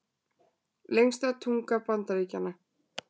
Lengsta tunga Bandaríkjanna